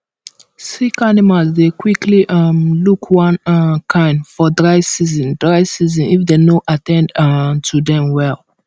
sick animals dey quickly um look one um kind for dry season dry season if dem no at ten d um to dem well